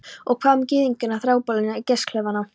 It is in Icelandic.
Og hvað um gyðingana, þrælabúðirnar, gasklefana?